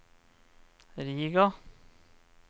Riga